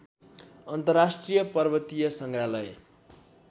अन्तर्राष्ट्रिय पर्वतीय सङ्ग्रहालय